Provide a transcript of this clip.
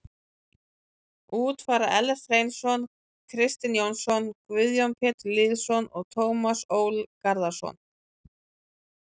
Út fara Ellert Hreinsson, Kristinn Jónsson, Guðjón Pétur Lýðsson og Tómas Ól Garðarsson.